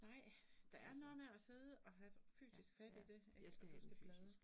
Nej, der er noget med at sidde og have fysisk fat i det, når du skal bladre